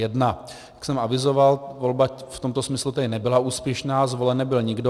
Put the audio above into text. Jak jsem avizoval, volba v tomto smyslu tedy nebyla úspěšná, zvolen nebyl nikdo.